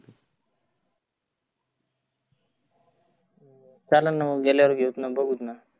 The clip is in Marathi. चालन ना मग गेल्यावर घेऊतना बघुतना.